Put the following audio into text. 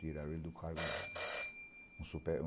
Tiraram ele do cargo lá. O